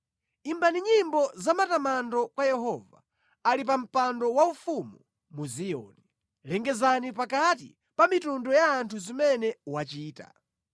Imbani nyimbo zamatamando kwa Yehova, ali pa mpando waufumu mu Ziyoni; lengezani pakati pa mitundu ya anthu zimene wachita.